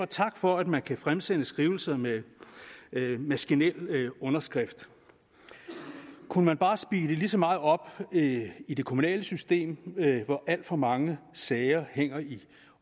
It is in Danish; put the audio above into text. tak for at man kan fremsende skrivelser med maskinelt gengivet underskrift kunne man bare speede lige så meget op i det kommunale system hvor alt for mange sager hænger i